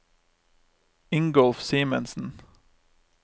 Ingolf Simensen